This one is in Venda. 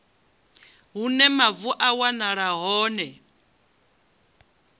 hune mavu a wanala hone